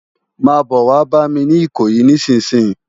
Má bò wá bàmi ni Ikoyi nisinsin